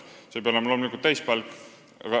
See ei pea loomulikult täispalk olema.